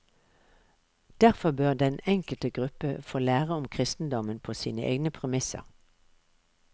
Derfor bør den enkelte gruppe få lære om kristendommen på sine egne premisser.